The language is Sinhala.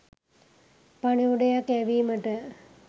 පණිවුඩයක් යැවීමට